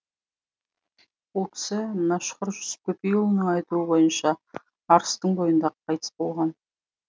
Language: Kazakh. ол кісі мәшһүр жүсіп көпейұлының айтуы бойынша арыстың бойында қайтыс болған